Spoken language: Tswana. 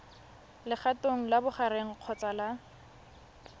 legatong la bogareng kgotsa la